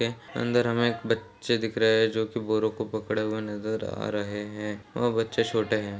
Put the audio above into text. अंदर हमें एक बच्चे दिख रहे हैं जो कि बोरों को पकड़े हुए नजर आ रहे हैं वह बच्चे छोटे है।